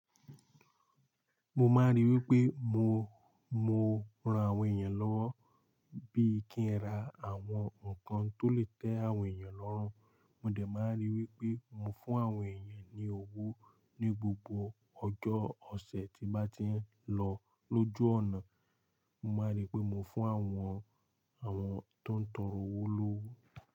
Mo máa rí wípé mo, mo ran àwọn èèyàn lọ́wọ́ bí i kí n ra àwọn ǹkan tó lè tẹ àwọn èèyàn lọ́run. Mo dà máa rí wípé mo fún àwọn èèyàn ní owó ní gbogbo ọjọ́ ọ̀sẹ̀ tí bá ti ń lọ lójú ọ̀nà. Mo máa rí pé mo fún àwọn, àwọn tó ń tọrọ owó lówó.